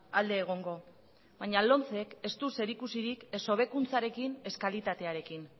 alde egongo baina lomcek ez du zerikusirik ez hobekuntzarekin ez kalitatearekin